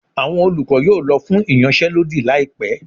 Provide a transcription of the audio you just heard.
awọn olukọ yóò lọ fún iyansé lodí laípe